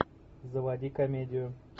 заводи комедию